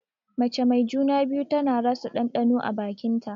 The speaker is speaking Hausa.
Mace mai juna-biyu tana rasa ɗanɗano a bakin ta.